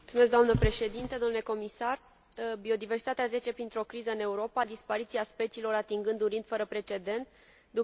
Biodiversitatea trece printr o criză în Europa, dispariția speciilor atingând un ritm fără precedent, ducând până la degradarea ecosistemelor.